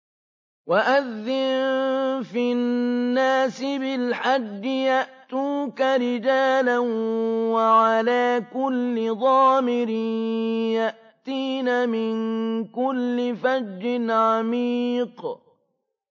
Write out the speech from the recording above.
وَأَذِّن فِي النَّاسِ بِالْحَجِّ يَأْتُوكَ رِجَالًا وَعَلَىٰ كُلِّ ضَامِرٍ يَأْتِينَ مِن كُلِّ فَجٍّ عَمِيقٍ